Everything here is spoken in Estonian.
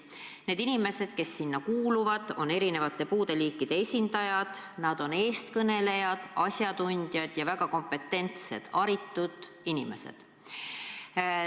Need inimesed, kes sinna kuuluvad, on erinevate puudeliikide esindajad, nad on eestkõnelejad, asjatundjad ja väga kompetentsed, haritud inimesed.